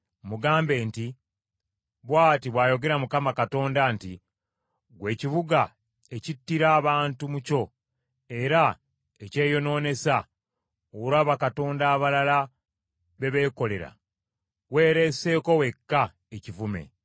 mugambe nti, ‘Bw’ati bw’ayogera Mukama Katonda nti, Ggwe ekibuga ekittira abantu mu kyo era ekyeyonoonesa olwa bakatonda abalala be beekolera, weeleeseeko wekka ekivume,